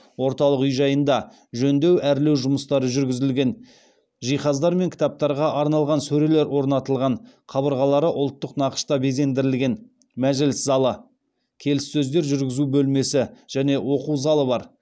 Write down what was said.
орталық үй жайында жөндеу әрлеу жұмыстары жүргізілген жиһаздар мен кітаптарға арналған сөрелер орнатылған қабырғалары ұлттық нақышта безендірілген мәжіліс залы келіссөздер жүргізу бөлмесі және оқу залы бар